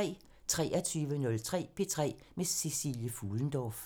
23:03: P3 med Cecilie Fuhlendorff